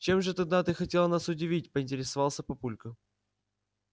чем же тогда ты хотела нас удивить поинтересовался папулька